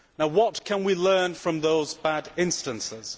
What can we learn from those bad instances?